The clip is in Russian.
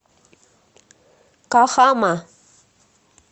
кахама